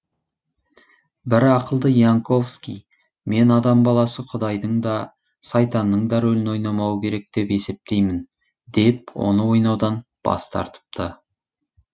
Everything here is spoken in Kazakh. бірақ ақылды янковский мен адам баласы құдайдың да сайтанның да рөлін ойнамауы керек деп есептеймін деп оны ойнаудан бас тартыпты